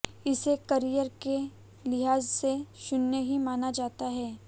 इसे करिअर के लिहाज से शून्य ही माना जाता है